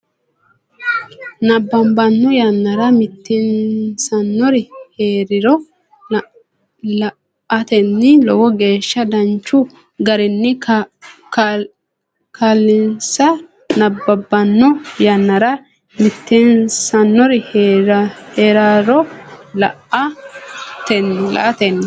nabbabbanno yannara mitiinsannonsari hee riro la atenni Lowo geeshsha danchu garinni kaa linsa nabbabbanno yannara mitiinsannonsari hee riro la atenni.